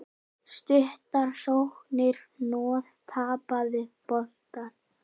Stuttar sóknir, hnoð, tapaðir boltar.